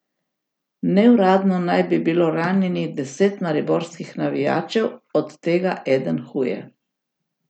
Neuradno naj bi bilo ranjenih deset mariborskih navijačev, od tega eden huje.